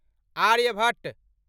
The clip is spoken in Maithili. आर्यभट्ट